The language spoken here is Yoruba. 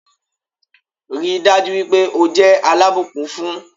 Ríi dájú wípé o jẹ́ alábùkún fún